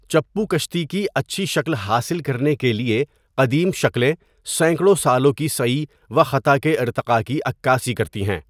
چپو کشتی کی اچھی شکل حاصل کرنے کیلۓ قدیم شکلیں سینکڑوں سالوں کی سَعی و خَطا کے ارتقا کی عکاسی کرتی ہیں۔